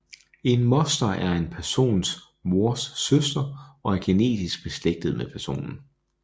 En moster er en persons mors søster og er genetisk beslægtet med personen